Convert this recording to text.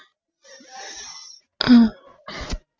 அஹ்